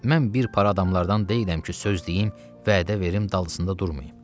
Mən bir para adamlardan deyiləm ki, söz deyim, vədə verim, dalında durmayım.